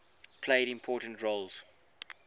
played important roles